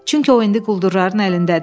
Çünki o indi quldurların əlindədir.